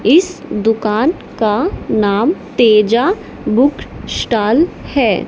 इस दुकान का नाम तेजा बुक स्टॉल है।